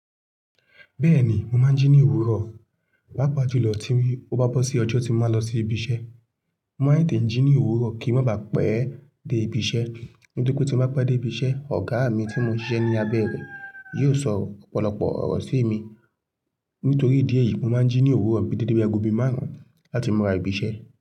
Bẹ́ẹ̀ni, mo máa ń jí ní òwúrọ̀, paápaa ju lọ tí ó bá bọ́ sí ọjọ́ tí mo máa lọ sí ibi iṣẹ́. Mo máa ń tẹ̀te jí ní òwúrọ̀ kí ń má baà pẹ́ dé ibi iṣẹ́. Nítorí pé tí n bá pẹ́ dé ibi iṣẹ́, ọ̀gá mi tí mo ń ṣiṣẹ́ ní abẹ́ rẹ̀ yóò sọ ọ̀pọ̀lọpọ̀ ọ̀rọ̀ sí mi. Nítorí ìdí èyí, mo máa ń jí ní òwúrọ̀ bí dédé bi aago bí márùn-ún láti mu ra ibi iṣẹ́.